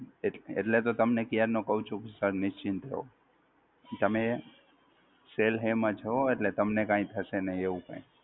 એટલે તો તમને ક્યારનો કઉ છું કે Sir નિશ્ચિત રહો, તમે Cell Hey માં છો એટલે તમને કાંઈ થશે નહિ એવું કાંઈ,